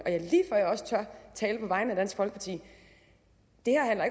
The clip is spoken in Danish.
og jeg også tør tale på vegne af dansk folkeparti